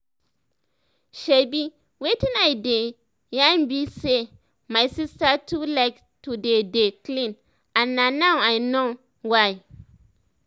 shebi wetin i dey yan bi say my sister too like to dey dey clean and na now i know why